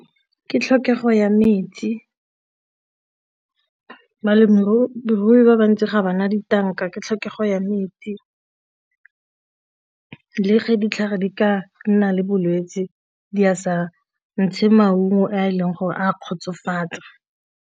Ke tlhokego ya metsi, balemirui ba bantsi ga ba na ditanka ke tlhokego ya metsi. Le fa ditlhare di ka nna le bolwetse di a sa ntshe maungo a e leng gore a kgotsofatsa.